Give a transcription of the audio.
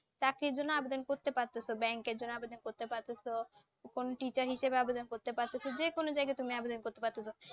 চাকরির জন্য আবেদন করতে পারতেছ Bank এর জন্য আবেদন করতে পারতেছ কোন Teacher হিসেবে আবেদন করতে পারতেছ যে কোন জায়গায় তুমি আবেদন করতে পারতেছ